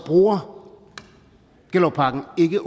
bruger gellerupparken ikke